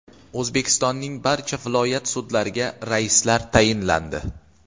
O‘zbekistonning barcha viloyat sudlariga raislar tayinlandi.